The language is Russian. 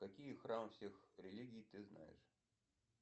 какие храмы всех религий ты знаешь